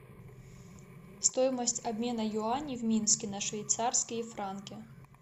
стоимость обмена юаней в минске на швейцарские франки